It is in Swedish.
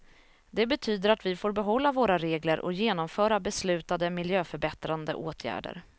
Det betyder att vi får behålla våra regler och genomföra beslutade miljöförbättrande åtgärder.